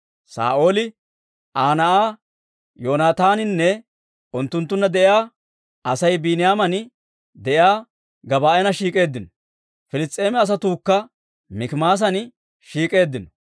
Saa'ooli, Aa na'aa Yoonataaninne unttunttunna de'iyaa Asay Biiniyaaman de'iyaa Gebaa'an shiik'k'eeddino; Piliss's'eema asatuukka Mikimaasan shiik'k'eeddino.